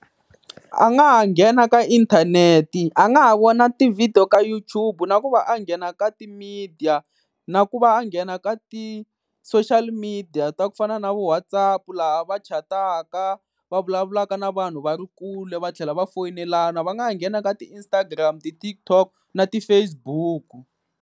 A nga ha nghena ka inthanete, a nga ha vona ti-video ka YouTube, na ku va a nghena ka ti-media na ku va a nghena ka ti-social media ta ku fana na vo WhatsApp laha va chataka va vulavulaka na vanhu va ri kule va tlhela va foyinelana. Va nga nghena ka ti-Instagram ti-TikTok na ti-Facebook.